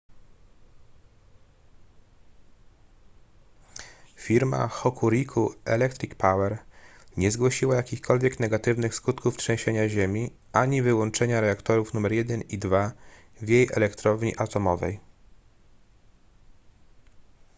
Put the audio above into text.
firma hokuriku electric power nie zgłosiła jakichkolwiek negatywnych skutków trzęsienia ziemi ani wyłączenia reaktorów nr 1 i 2 w jej elektrowni atomowej